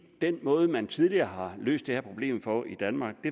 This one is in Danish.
den måde man tidligere har løst det her problem på i danmark